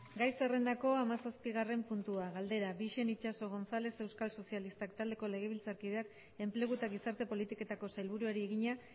gai zerrendako hamazazpigarren puntua galdera bixen itxaso gonzález euskal sozialistak taldeko legebiltzarkideak enplegu eta gizarte politiketako sailburuari egina